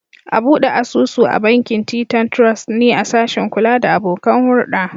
A bude asusu a bankin Titan Trust ne a sashin kula da abokan hurda.